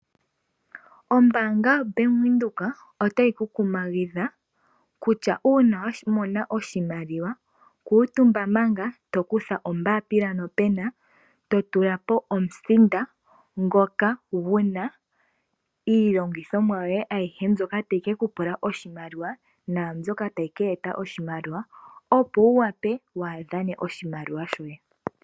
Ombanga yaBank Windhoek otayi ku kumagidha kutya una wamona oshimaliwa kutumba manga eto kutha ombapila nopena eto tulapo omusinda ngoka guna iilongithomwa yoye ayihe, mbyoka tayi ke kupula oshimaliwa nambyoka tayi ke eta oshimaliwa opowu wape wadhane oshimaliwa shoye.